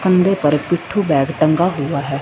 कंधे पर पिट्ठू बैग टंगा हुआ है।